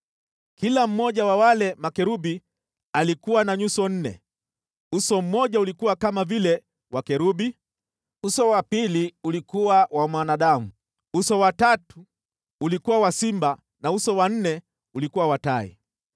Kila mmoja wa wale makerubi alikuwa na nyuso nne: Uso mmoja ulikuwa kama vile wa kerubi, uso wa pili ulikuwa wa mwanadamu, uso wa tatu ulikuwa wa simba na uso wa nne ulikuwa wa tai.